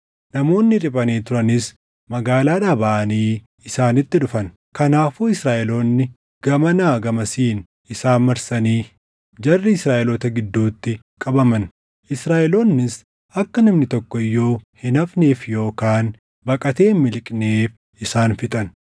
Namoonni riphanii turanis magaalaadhaa baʼanii isaanitti dhufan; kanaafuu Israaʼeloonni gamanaa gamasiin isaan marsanii jarri Israaʼeloota gidduutti qabaman. Israaʼeloonnis akka namni tokko iyyuu hin hafneef yookaan baqatee hin miliqneef isaan fixan.